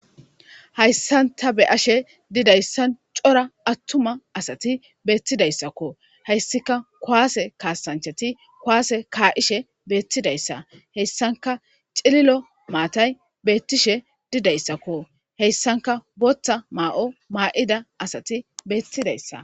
Hayssanta be ashe didayssan cora attuma asati beettidayssakko hayssika kwaase kaasanchati kwaase kaa'ishe beettidayssa heyssanka cililo maatay beettishe didayssakko heyssanka boththa maa'o maa'ida asati beettidayssa.